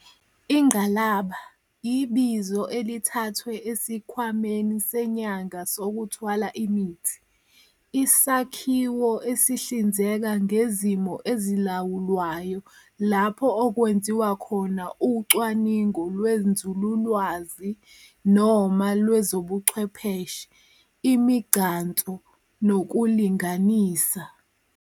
Ingqalaba, ibizo elithathwe esikhwameni senyanga sokuthwala imithi, isakhiwo esihlinzeka ngezimo ezilawulwayo lapho okwenziwa khona ucwaningo lwenzululwazi noma lwezobuchwepheshe, imigcanso, nokulinganisa.